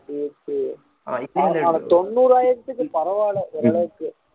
சரி சரி தொண்ணூறாயிரத்துக்கு பரவால்ல ஓரளவுக்கு